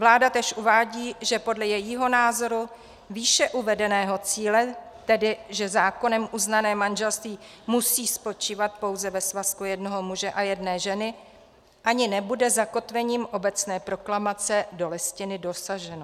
Vláda též uvádí, že podle jejího názoru výše uvedeného cíle, tedy že zákonem uznané manželství musí spočívat pouze ve svazku jednoho muže a jedné ženy, ani nebude zakotvením obecné proklamace do Listiny dosaženo.